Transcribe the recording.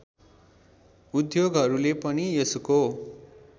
उद्योगहरूले पनि यसको